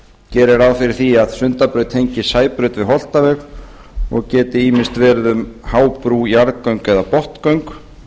gerir ráð fyrir að sundabraut tengist sæbraut við holtaveg og geti ýmist verið um hábrú jarðgöng eða botngöng